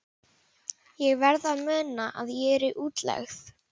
Ég verð að muna að ég er í útlegð.